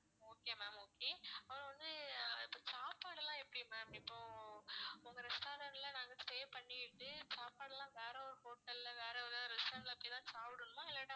okay ma'am okay அப்புறம் வந்து இப்ப சாப்பாடெல்லாம் எப்படி ma'am இப்போ உங்க restaurant ல நாங்க stay பண்ணிகிட்டு சாப்பாடெல்லாம் வேற ஒரு hotel ல வேற எதாவது restaurant ல இப்படி தான் சாப்பிடணுமா இல்லாட்டா